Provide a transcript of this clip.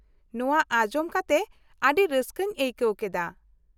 ᱱᱚᱶᱟ ᱟᱸᱡᱚᱢ ᱠᱟᱛᱮ ᱟᱹᱰᱤ ᱨᱟᱹᱥᱠᱟᱹᱧ ᱟᱹᱭᱠᱟᱣ ᱠᱮᱫᱟ ᱾